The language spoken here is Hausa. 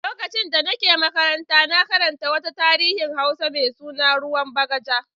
Lokacin da nake makaranta na karanta wata tarihin Hausa mai suna "Ruwan Bagaja".